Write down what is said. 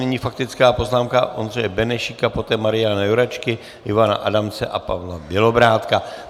Nyní faktická poznámka Ondřeje Benešíka, poté Mariana Jurečky, Ivana Adamce a Pavla Bělobrádka.